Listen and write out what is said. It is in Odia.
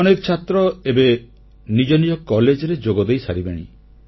ଅନେକ ଛାତ୍ର ଏବେ ନିଜ ନିଜ କଲେଜରେ ଯୋଗ ଦେଇସାରିବେଣି